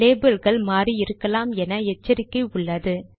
லேபிள்கள் மாறி இருக்கலாம் என எச்சரிக்கை உள்ளது